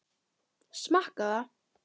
Smakka það.